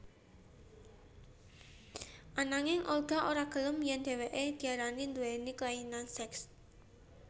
Ananging Olga ora gelem yèn dhéwéké diarani nduwéni kelainan seks